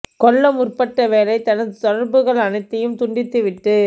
கொள்ள முற்பட்ட வேளை தனது தொடர்புகள் அனைத்தையும் துண்டித்து விட்டு